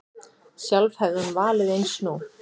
Sjálf hefði hún valið eins nú.